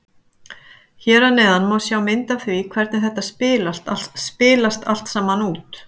Hér að neðan má sjá mynd af því hvernig þetta spilast allt saman út.